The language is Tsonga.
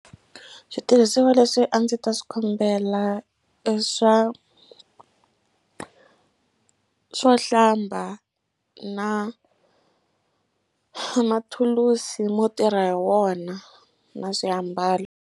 Switirhisiwa leswi a ndzi ta swi kombela i swa swo hlamba na mathulusi mo tirha hi wona na swiambalo.